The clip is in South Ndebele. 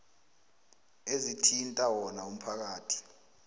ezithinta wona umphakathi